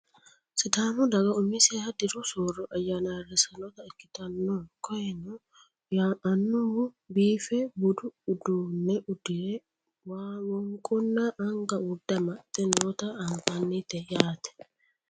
sidaamu daga umiseha diru soorro ayyaana ayeerrissannota ikkitannakoyeeno annuwu biife budu uduunne uddire wonqonna anga urde amaxxe noota anfannite yaate